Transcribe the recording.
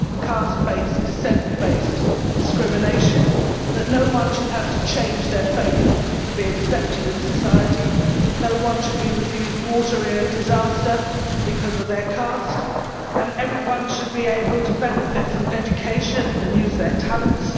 caste based, descent based discrimination and that no one should have to change their faith to be accepted in society, no one should be refused water in a disaster because of their caste and everyone should be able to benefit from education and use their talents.